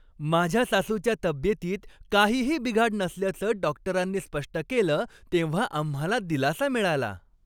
माझ्या सासूच्या तब्येतीत काहीही बिघाड नसल्याचं डॉक्टरांनी स्पष्ट केलं तेव्हा आम्हाला दिलासा मिळाला.